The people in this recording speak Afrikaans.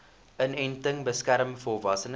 inenting beskerm volwassenes